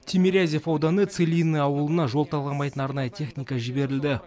тимирязев ауданы целинное ауылына жол талғамайтын арнайы техника жіберілді